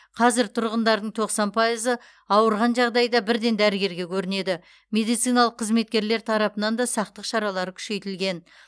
қазір тұрғындардың тоқсан пайызы ауырған жағдайда бірден дәрігерге көрінеді медициналық қызметкерлер тарапынан да сақтық шаралары күшейтілген